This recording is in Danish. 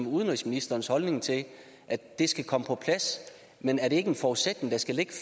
udenrigsministerens holdning til at det skal komme på plads men er det ikke en forudsætning der skal ligge